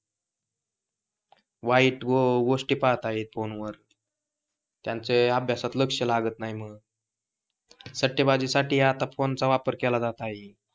वाईट गोष्टी पाहत आहेत, फोन वर त्यांचं अभ्यासात लक्ष लागत नाही मग. सट्टेबाजी साठी आता फोन चा वापर केला जातो.